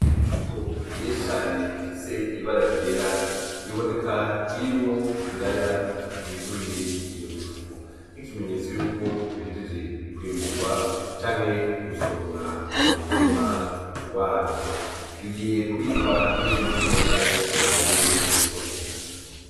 Imifuko myinshi cane ifis'ibara yera iboneka irimwo ibiraya vyuzuye iyo mifuko nk'ikimenyetso yuko bihejeje kwimburwa canke gusoromwa m'umurima wavyo, bigiye kubirwa nk'imbuto cane bijanwe mw'isoko.